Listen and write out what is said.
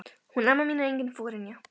Hún amma mín er engin forynja.